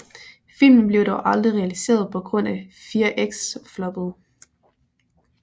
Filmen blev dog aldrig realiseret på grund af Fear X floppede